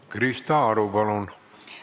Krista Aru, palun!